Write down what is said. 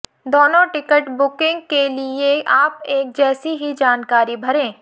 दोनों ticket booking के लिए आप एक जैसी ही जानकारी भरें